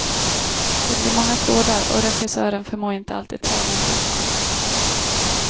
Det blir många trådar och regissören förmår inte alltid trä dem rätt.